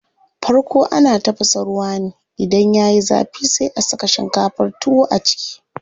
Farko ana tafasa ruwa ne, idan yayi zafi sai a saka shinkafar tuwo a ciki.